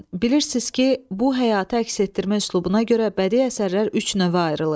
Bilirsiniz ki, bu həyatı əks etdirmə üslubuna görə bədii əsərlər üç növə ayrılır.